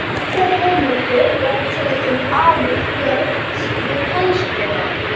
Nokkrar heimildir eru til um alúð Björns við kennsluna.